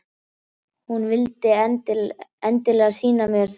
Hún vildi endilega sýna mér þau.